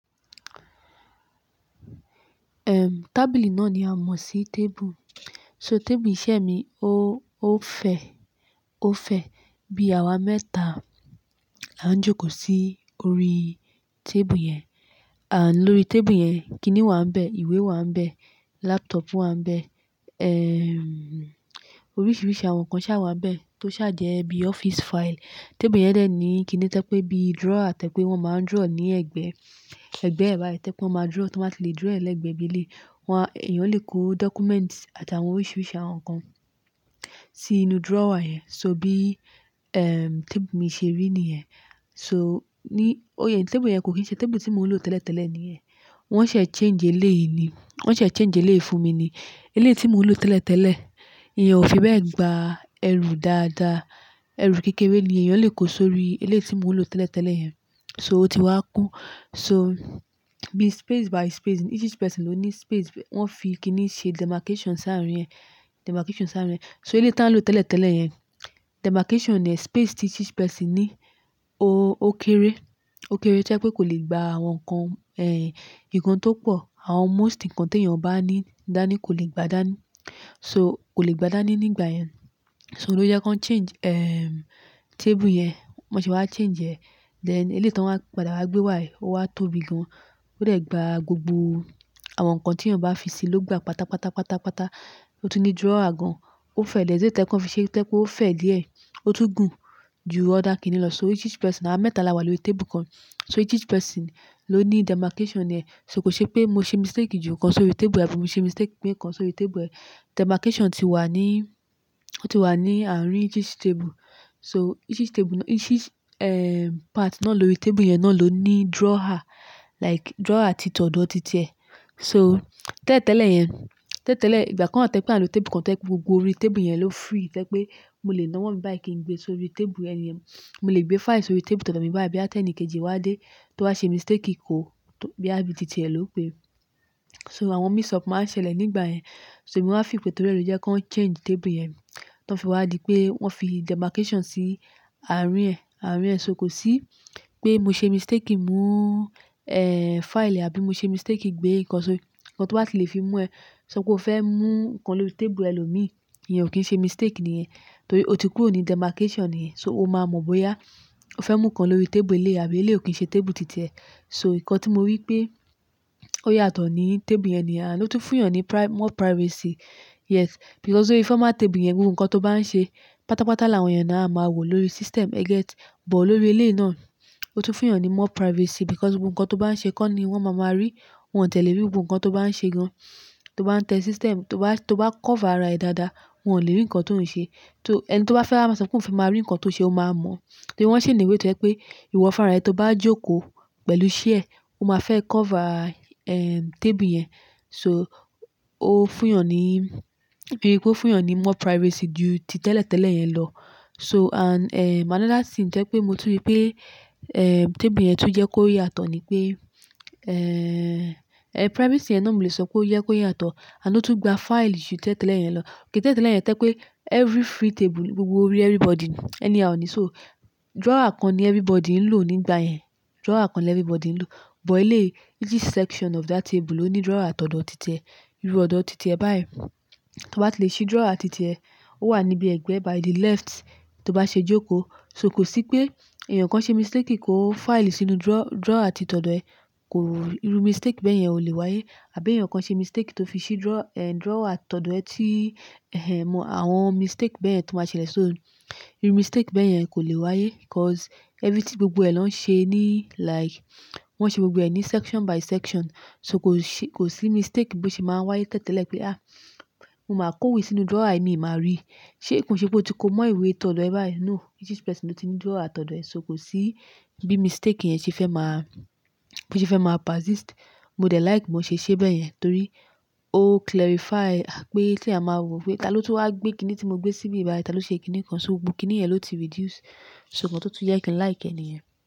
Erm, tábìlì náà ni a mọ̀ sí table. So table iṣẹ́ mi ó, ó fẹ́, ó fẹ́. Bí àwa mẹ́ta la ń jókòó sí orí table yẹn. And lórí table yẹn, kiní wà ń bẹ, ìwé wà ń bẹ, laptop wà ń bẹ. Erm, oríṣiríṣi àwọn nǹkan ṣà wà ń bẹ tó ṣà jẹ́ bí office file. Table yẹn dẹ̀ ní kiní to je pé bí drawer to je pé wọ́n máa ń draw ní ẹ̀gbẹ́, ẹ̀gbẹ́ ẹ́ báyi to ẹ́ pé wọ́n máa drawer tó máa tí lè drawer ẹ lẹ́gbẹ̀ẹ́ bí eleyi. Wa, èèyàn lè kó documents àti àwọn oríṣiríṣi àwọn nǹkan sí inú drawer yẹn. So bí, em, table mi ṣe rí nìyẹn. So ní, ó, table yẹn kò kín ṣe table tí mò ń lò tẹ́lẹ̀tẹ́lẹ̀ nìyẹn. Wọ́n ṣẹ̀ change eléyìí ni. Wọ́n ṣẹ̀ change eléyìí fún mi ni. Eléyìí tí mò ń lò tẹ́lẹ̀tẹ́lẹ̀, iyen o fi bẹ́ẹ̀ gba ẹrù dáadáa. Erù kékeré ni èèyàn lè kó sórí eléyìí tí mò ń lò tẹ́lẹ̀tẹ́lẹ̀ yẹn. So ó ti wá kún. So bí space by space, ní each each person ló ní space wọ́n fi kiní ṣe demarcation sáàrín yẹn, demarcation sáàrín yẹn. So eléyìí tá ń lò tẹ́lẹ̀tẹ́lẹ̀ yẹn, demarcation è, space tí each each person ní ó, ó kéré. Ó kéré to 'e pe kò lè gba àwọn nǹkan, ehn, nǹkan tó pọ̀. Àwọn most nǹkan tí èèyàn bá ní dání kò lè gba dání. So kò lè gba dání nígbà yẹn. So ló jẹ́ kí wọ́n change, erm, table yẹn. Bon se wá change ẹ̀. Then eléyìí táń wá padà wá gbé wá yìí ó wá tóbi gan. Ó dẹ̀ gba gbogbo àwọn nǹkan tí èèyàn bá fi sí i ló gba pátápátá, pátápátá. Ó tún ní drawer gan. Ó fẹ́ there's a way to yẹ́ kan fi se to je pe ó fẹ́ díẹ̀. Ó tún gùn ju other kiní lọ. So each each person, àwa mẹ́ta la wà lórí table kan. So each person ló ní demarcation ẹ. So kò n ṣe pé mo ṣe mistake ju kan sórí table ẹ àbí mo ṣe mistake gbé nkan sórí table ẹ. Demarcation ti wà ní, ó ti wà ní àárín each table. So each each table ná, each, erm, part naá lórí table yẹn náà ló ní drawer. Like drawer ti tọ̀ do titi e so tẹ́ tẹ́lẹ̀ yẹn, tẹ́ tẹ́lẹ̀ ìgbà kan tẹ́ pé à ń lò table kan to je pé gbogbo orí table yẹn ló free. To'epé mo lè ná owọ́ mi báyìí kí n gbé sórí tableẹni yen. Mo lè gbé file sórí table tọ̀do mi báyìí bá tẹ́ ẹni kejì wá dé tó bá ṣe mistake kó tó, boya bí tìtì ẹ ló pé. So àwọn mix up máa ń ṣẹlẹ̀ nígbà yẹn. So èmi wá feel pe tó ri e ló jẹ́ kan change table yẹn. Tọ́ fi wá di pé wọ́n fi demarcation sí àárín ẹ, àárín ẹ. So kò sí pé mo ṣe mistake kí ń mú, eh, file e àbí mo ṣe mistake gbé nǹkan sórí, nǹkan tó bá ti lè fi mú ẹ. So kó fẹ́ mú nǹkan lórí table ẹlòmíì, èèyàn ò kín ṣe mistake nìyẹn. Torí ó ti kúrò ní demarcation ni yẹn. So o máa mọ̀ bóyá o fẹ́ mú nǹkan lórí table eléyìí àbí eléyìí ò kín ṣe table tìtì ẹ. So nǹkan tí mo rí pé ó yàtọ̀ ní table yẹn ni yen and o tún fún èèàn ní pri-- more privacy. Yes, because órí former table yẹn gbogbo nǹkan tó bá ń ṣe pátápátá làwọn èèyàn náà a máa wòó lórí system. E get? But lórí eléyìí náà ó tún fún èèyàn ní more privacy because gbogbo nǹkan tó bá ń ṣe kọ́ ni wọ́n máa má rí. Wọn ò ti ẹ̀lé ríi gbogbo nǹkan tó bá ń ṣe gan. Tó bá ń tẹ system, tó bá, tó bá cover ara ẹ dáadáa wọn ò lè rí nǹkan tó ń ṣe. Tó, ẹni tó bá wa fẹ́ a máa sọ pé òun fẹ́ máa rí nǹkan tó ṣe ó máa mọ̀. Torí wọ́n ṣi ni way to jẹ́ pé ìwọ fún ra e tó bá jókòó pẹ̀lú chair o máa fẹ́ cover, erm, table yẹn. So ó fún èèyàn ní, bíi pé ó fún èèyàn ní more privacy ju títẹ́lẹ̀tẹ́lẹ̀ yẹn lọ. So and, erm, another thing to'pé mo tún rí pé, erm, table yẹn tún jẹ́ kó yàtọ̀ ni pé, erm, erm, privacy yen náà mo lè sọ pé ó jẹ kó yàtọ̀. Ani ò tún gba file ju tẹ́ tẹ́lẹ̀ yẹn lọ. Ti tẹ́lẹ̀ tele yẹn to'epé every free table gbogbo orí everybody ni, anyhow iní. So drawer kan ni everybody ń lò nígbà yẹn. Drawer kan ni everybody ń lò. But eléyìí, each each section of that table ló ní drawer tọ̀dọ́ tìtì ẹ. Iru ọ̀dọ̀ tìtì ẹ bá yen. To bá ti lè ṣí drawer titì ẹ, ó wà níbi ẹ̀gbẹ́ by the left tó bá ṣe jókòó. So kò sí pé èèyàn kan ṣe mistake kí kó file sínú draw- drawer ti tọ̀dọ́ ẹ. Kò, iru mistake bẹ́ẹ̀ yẹn ò lè wáyé. Àbí èèyàn kan ṣe mistake tó fi ṣí draw, erm, drawer tọ̀dọ́ ẹ tí, ẹhe, àwọn mistake bẹ́ẹ̀ yen tó máa ṣẹlẹ̀. So iru mistake bẹ́ẹ̀ yẹn kò lè wáyé 'cause everything gbogbo ẹ lọ́ ń ṣe ní like wọ́n ṣe gbogbo ẹ̀ ní section by section. So kò ṣe, kò sí mistake bí ó ṣe máa ń wáyé tẹ́ tẹ́lẹ̀ pé, "Ah, mo máa kó ìwé sínú drawer à yìí mo máa rí." Ṣé kò ṣe pé o ti kó mọ́ ìwé tọ̀dọ́ ẹ báyìí? No, each each person ló ti ní drawer tọ̀dọ́ ẹ. So kò sí bí mistake yẹn ṣe fẹ́ máa, bíṣé fẹ́ máa persist. Mo dẹ̀ like bó ṣe ṣe bẹ́ẹ̀ yẹn torí ó clarify pé kí a máa wò ó pé tá ló tó wá gbé kiní tí mo gbé síbí báyìí, tá ló ṣe kiní kan. So gbogbo kiní yẹn ló ti reduce. So nǹkan tó tún jẹ́ kí n like ẹni yen.